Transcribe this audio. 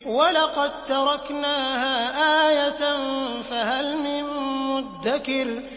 وَلَقَد تَّرَكْنَاهَا آيَةً فَهَلْ مِن مُّدَّكِرٍ